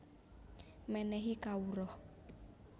Menéhi Kawruh